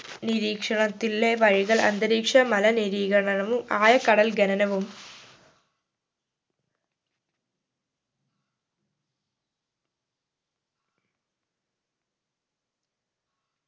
നിരീക്ഷണത്തിലെ വഴികൾ അന്തരീക്ഷ മലിനീകരണവും ആഴക്കടൽ ഖനനവും